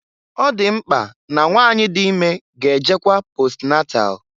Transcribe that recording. Ọ dị mkpa na nwanyị dị ime ga-ejekwa posnatal.